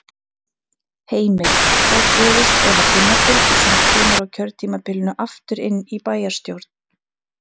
Heimir: Hvað gerist ef að Gunnar Birgisson kemur á kjörtímabilinu aftur inn í bæjarstjórn?